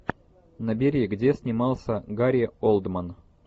набери где снимался гари олдман